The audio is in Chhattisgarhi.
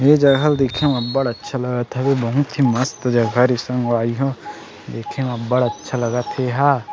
ये जगह ल देखे म बढ़ अच्छा लगत हवे बहुत ही मस्त जगह रीहीस संगवारी हो देखे में बढ़ अच्छा लगत एहा ।